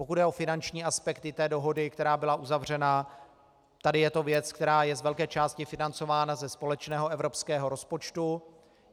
Pokud jde o finanční aspekty té dohody, která byla uzavřena, tady je to věc, která je z velké části financována ze společného evropského rozpočtu.